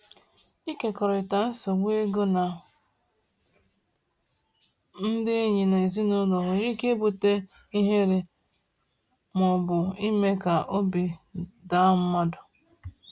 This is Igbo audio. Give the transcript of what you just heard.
Ịkekọrịta nsogbu ego na ndị enyi na ezinụlọ nwere ike ibute ihere ma ọ bụ ime ka obi daa mmadụ.